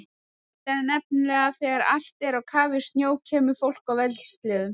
Málið er nefnilega að þegar allt er á kafi í snjó kemur fólk á vélsleðum.